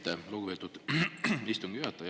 Aitäh, lugupeetud istungi juhataja!